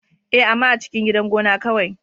Ee, amma a cikin gidan gona kawai.